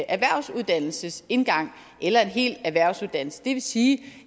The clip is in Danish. erhvervsuddannelsesindgang eller en hel erhvervsuddannelse det vil sige